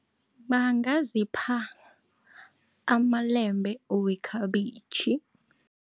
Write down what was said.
Bangazipha amalembe wekhabitjhi.